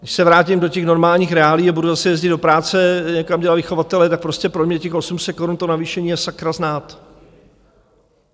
Když se vrátím do těch normálních reálií a budu zase jezdit do práce, někam dělat vychovatelé, tak prostě pro mě těch 800 korun to navýšení a sakra znát.